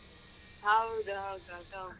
ಹೌದು ಹೌದು ಹೌದು.